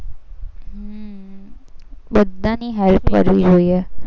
બધાની help કરવી જોઈએ.